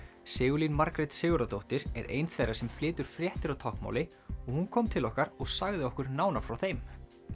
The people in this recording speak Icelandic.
Sigurlín Margrét Sigurðardóttir er ein þeirra sem flytur fréttir á táknmáli og hún kom til okkar og sagði okkur nánar frá þeim